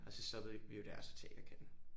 Og så stoppede vi jo der og så Teaterkatten